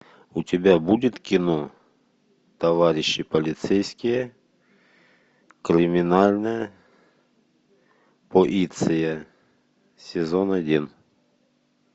у тебя будет кино товарищи полицейские криминальная полиция сезон один